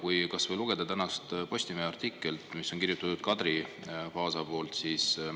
Lugege kas või tänasest Postimehest artiklit, mis on kirjutatud Kadri Paasi poolt.